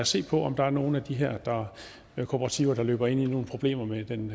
se på om der er nogle af de her kooperativer der løber ind i nogle problemer med den